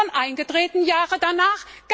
Und was ist davon eingetreten, Jahre danach?